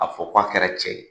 A bɛ fɔ k'a kɛra cɛ ye.